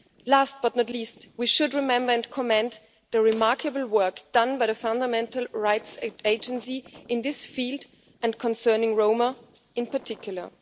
Last, but not least, we should remember and commend the remarkable work done by the Fundamental Rights Agency in this field, and concerning Roma in particular.